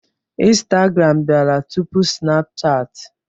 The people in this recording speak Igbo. Instagram bịara tupu Sinapuchat.